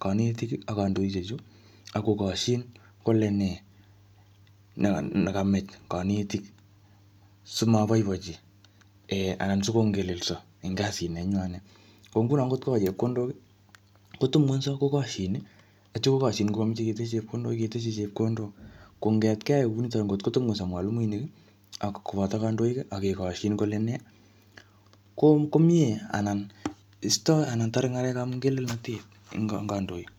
kanetik ak kandoishek chu, akokoshin kole nee neka-nekamach kanetik, simaboiboichi um sikongelelso eng kasit nenywanet. Ko nguno ngotko chepkondok, kotubungenyso kokoshin, atyam kokoshin ngokameche ketes chepkondok, keteshi chepkondok. Kongetkei kunitoni ngotkotebungunyso mwalimuinik, ak koboto kandoik, akekoshin kole nee, ko-ko mie anan istoi anan tare ng'alekap ngelelnatet eng kandoik.